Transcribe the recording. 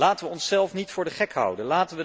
Laten we onszelf niet voor de gek houden!